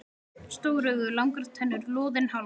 Stór augu, langar tennur, loðinn háls.